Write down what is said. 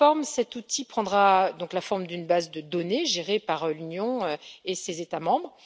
Cet outil prendra la forme d'une base de données gérée par l'Union et ses États membres.